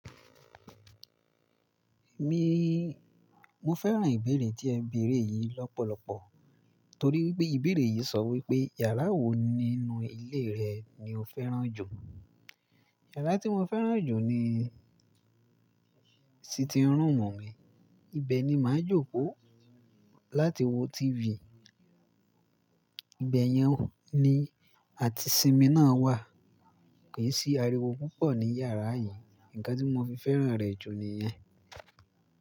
Mi, mo fẹ́ràn ìbéèrè tí ẹ bèèrè yìí lọ́pọ̀lọpọ̀ torí wípé ìbéèrè yìí sọ wípé yàrá wo nínú ilé rẹ ni o fẹ́ràn jù. Yàrá tí mo fẹ́ràn jù ni sitting room mi, ibẹ̀ ni màá ń jókòó láti wo TV. Ibẹ̀ yẹn ni àti simi náà wà. Ke sí ariwo púpọ̀ ní yàrá yìí. Ǹkan tí mo fi fẹ́ràn rẹ̀ jù ni yẹn.